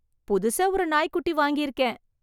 புதுசா ஒரு நாய் குட்டி வாங்கி இருக்கேன்.